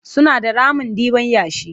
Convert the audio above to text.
Suna da ramin ɗiban yashi.